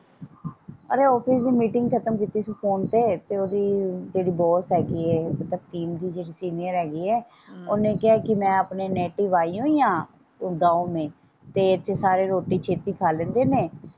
ਰੇ ਆਫ਼ਿਸ ਦੀ ਮੀਟਿੰਗ ਖਤਮ ਕੀਤੀ ਸੀ ਫੋਨ ਤੇ ਤੇ ਓਹਦੀ ਜਿਹੜੀ ਬੌਸ ਹੈਗੀ ਏ ਦੀ ਜਿਹੜੀ ਸੀਨੀਅਰ ਹੈਗੀ ਏ ਓਹਨੇ ਕਿਹਾ ਕਿ ਮੈਂ ਆਪਣੇ ਨੇਟਿਵ ਆਈ ਹੋਈ ਆਂ ਆਪਣੇ ਗਾਂਵ ਮੇਂ ਤੇ ਇਥੇ ਸਾਰੇ ਰੋਟੀ ਛੇਤੀ ਖਾ ਲੈਂਦੇ ਨੇ।